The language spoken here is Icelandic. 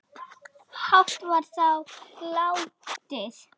hátt var þar látið